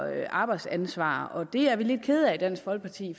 arbejdsansvar og det er vi lidt kede af i dansk folkeparti